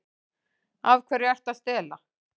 Af hverju ertu að stela?